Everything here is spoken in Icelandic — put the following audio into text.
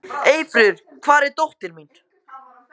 Eyfríður, hvar er dótið mitt?